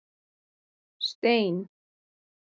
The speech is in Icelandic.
Stein